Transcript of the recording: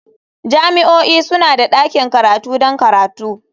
Jami'o'i suna da ɗakin karatu don karatu.